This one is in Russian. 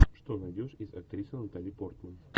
что найдешь из актрисы натали портман